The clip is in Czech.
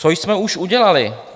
- Co jsme už udělali?